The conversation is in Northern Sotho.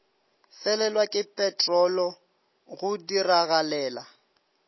felelwa ke peterolo go diragalela